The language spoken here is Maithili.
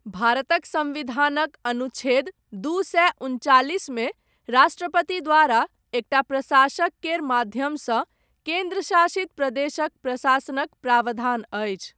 भारतक सम्विधानक, अनुच्छेद दू सए उनचालिसमे, राष्ट्रपति द्वारा, एकटा प्रशासक केर माध्यमसँ, केन्द्रशासित प्रदेशक प्रशासनक प्रावधान अछि।